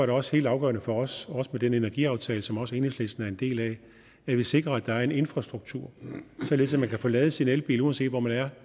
det også helt afgørende for os også med den energiaftale som også enhedslisten er en del af at vi sikrer at der er en infrastruktur således at man kan få ladet sin elbil uanset hvor man er